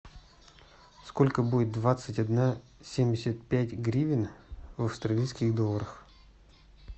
сколько будет двадцать одна семьдесят пять гривен в австралийских долларах